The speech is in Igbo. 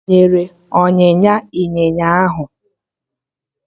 Ị banyere ọnyịnya ịnyịnya ahụ?